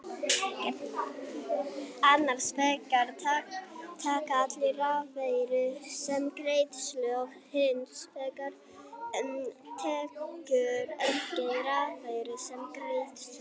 Annars vegar taka allir rafeyri sem greiðslu og hins vegar tekur enginn rafeyri sem greiðslu.